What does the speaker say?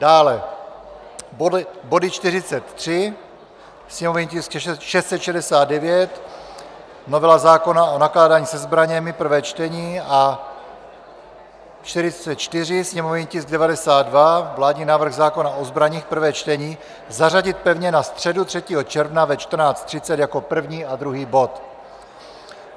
dále body 43, sněmovní tisk 669, novela zákona o nakládání se zbraněmi, prvé čtení, a 44, sněmovní tisk 92, vládní návrh zákona o zbraních, prvé čtení, zařadit pevně na středu 3. června ve 14.30 jako první a druhý bod;